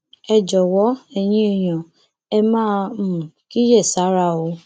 ẹ jọwọ ẹyin èèyàn ẹ máa um kíyèsára o